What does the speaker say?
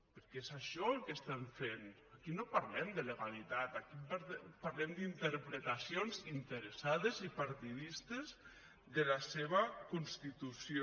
perquè és això el que estan fent aquí no parlem de legalitat aquí parlem d’interpretacions interessades i partidistes de la seva constitució